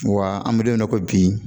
Wa an bɛ don min na i ko bi